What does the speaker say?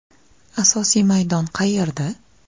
Asosiy maydon qayerda?